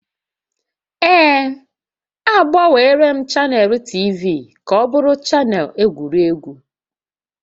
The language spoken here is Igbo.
Ee, agbanweela m chanel TV ka ọ bụrụ chanel egwuregwu